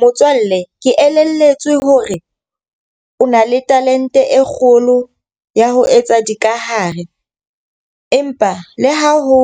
Motswalle, ke elelletswe hore o na le talente e kgolo ya ho etsa dikahare. Empa le ha ho